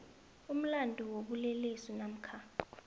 umlandu wobulelesi namkha